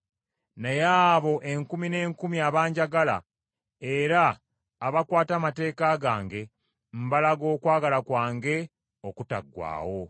Naye abo enkumi n’enkumi abanjagala era abakwata amateeka gange, mbalaga okwagala kwange okutaggwaawo.